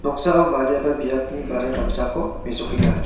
noksao badiaba biapni bajar damsako mesokenga.